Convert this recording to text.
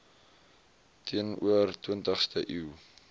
teenoor twintigste eeu